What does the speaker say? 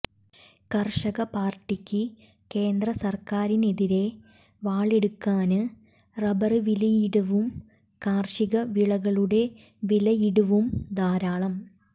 കര്ഷക പാര്ട്ടിക്ക് കേന്ദ്ര സര്ക്കാരിനെതിരെ വാളെടുക്കാന് റബര് വിലയിടിവും കാര്ഷിക വിളകളുടെ വിലയിടിവും ധാരാളം